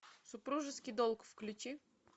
супружеский долг включи